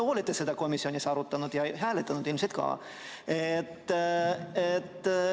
Küsin, kuna te olete seda komisjonis arutanud ja ilmselt ka hääletanud.